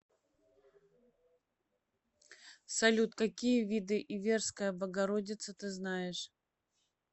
салют какие виды иверская богородица ты знаешь